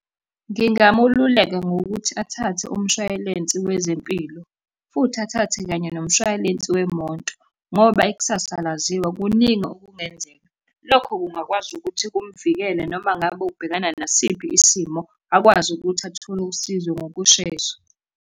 Ngingamululeka ngokuthi athathe umshwayilensi wezempilo, futhi athathe kanye nomshwaylensi wemoto, ngoba ikusasa alaziwa kuningi okungenzeka. Lokho kungakwazi ukuthi kumvikele noma ngabe ubhekana nasiphi isimo, akwazi ukuthi athole usizo ngokushesha.